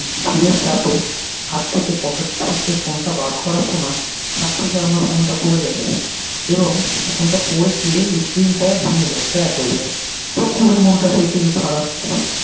ভিরের চাপে হাত থেকে পকেট থেকে ফোন টা বার করার সময় হাত থেকে আমার ফোন টা পরে যায় এবং ফোন টা পরে গিয়ে screen টা ভেঙ্গে যায় crack হয়ে যায় তো খুবি মনটা সেই থেকে খারাপ